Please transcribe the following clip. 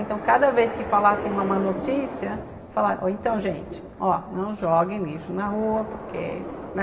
Então, cada vez que falassem uma má notícia, falaram, então, gente, não joguem lixo na rua, porque, né?